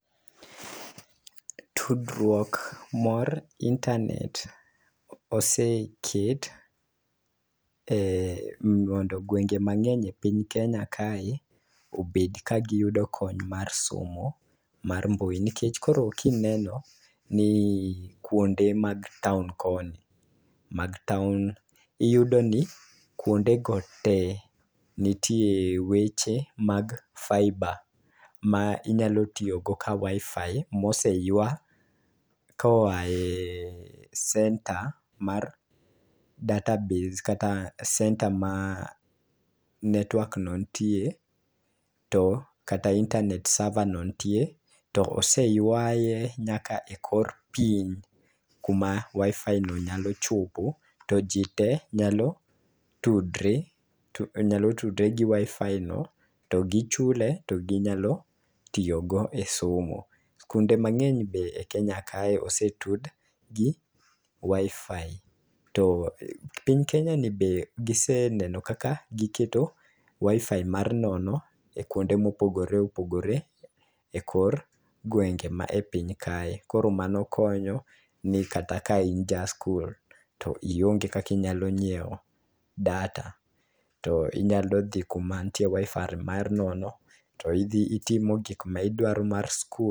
Tudruok mar internet oseket e mondo gwenge mang'eny e piny kenya kae obed ka giyudo kony mar somo mar mbui nikech koro kineno ni kuonde mag taon koni mag taon iyudo ni kuonde go tee nitie weche mag fibre ma onyalo tiyo go ka wifi moseywa koaye center mar database kata center ma network no ntie kata intenet server no ntie to oseywaye nyaka e kor piny kama wifi no nyalo chopo to jii te nyalo tudre nyalo tude gi wifi no gichule no ginyalo tiyo go e somo. Skunde mang'eny be e kenya ka be osetud gi wifi to piny kenya ni be giseneno kaka giketo wifi mar nono e kuonde mopogore opogore e kor gwenge mae piny kae . Koro mano konyo ni kata ka in ja skul to ionge kaki nyalo nyiewo data to inyalo dhi kuma ntie wifi mar nono to idhi itimo gik ma idwaro mar skul